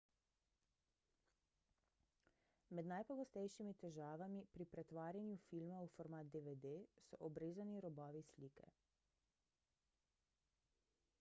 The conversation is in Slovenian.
med najpogostejšimi težavami pri pretvarjanju filma v format dvd so obrezani robovi slike